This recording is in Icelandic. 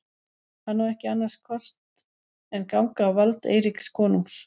Hann á ekki annars kost en ganga á vald Eiríks konungs.